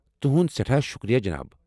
تُہُند سٮ۪ٹھاہ شکریہ، جناب ۔